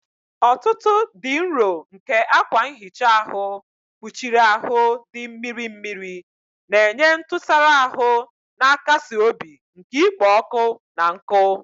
Ọfụfụ dị nro nke akwa nhicha ahụ kpuchiri ahụ dị mmiri mmiri, na-enye ntụsara ahụ na-akasi obi nke ikpo ọkụ na nkụ.